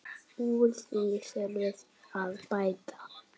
Úr því þurfi að bæta.